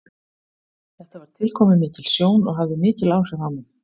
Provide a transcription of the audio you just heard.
Þetta var tilkomumikil sjón og hafði mikil áhrif á mig.